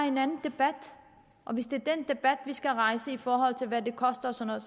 en anden debat og hvis det er den debat vi skal rejse i forhold til hvad det koster og sådan